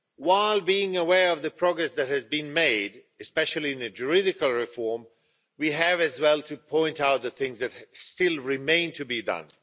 While being aware of the progress that has been made, especially in the juridical reform, we have as well to point out the things that still remain to be done.